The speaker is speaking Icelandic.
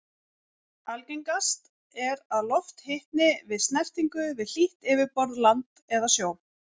Algengast er að loft hitni við snertingu við hlýtt yfirborð, land eða sjó.